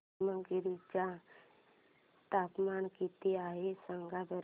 पेमगिरी चे तापमान किती आहे सांगा बरं